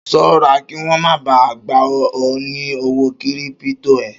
Ṣọ́ra kí wọ́n má ba à gba ọ ní owó kírípító ẹ!